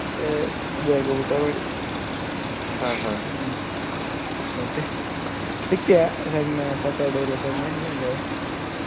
ಅದ್ಕೆ ಬೇಗ ಊಟ ಮಾಡಿದ್ದು ಮತ್ತೇ ಸಿಕ್ತಿಯಾ Saturday ಇಲ್ಲ Sunday ?